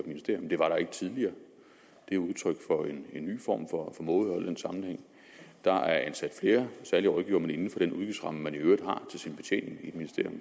ministerium det var der ikke tidligere det er udtryk for en ny form for mådehold i den sammenhæng der er ansat flere særlige rådgivere men inden for den udgiftsramme man i øvrigt har til sin betjening i et